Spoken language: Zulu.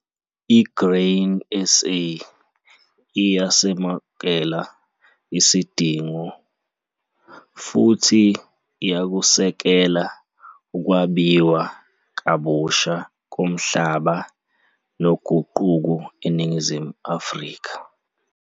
I-Grain SA iyasemukela isidingo, futhi iyakusekela ukwabiwa kabusha komhlaba noguquko eNingizimu Afrika.